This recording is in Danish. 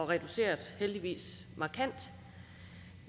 reduceret markant